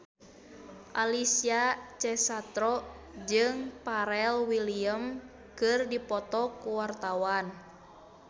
Alessia Cestaro jeung Pharrell Williams keur dipoto ku wartawan